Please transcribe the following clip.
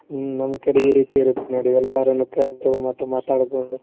ಹ್ಮ್ ನಮ್ಮ್ ಕಡೆ ಈರೀತಿ ಇರತ್ತ ನೋಡಿ ಎಲ್ಲರನ್ನು ಕರ್ದು ಮತ್ ಮಾತಡ್ಕೊಂತ ದೂರ.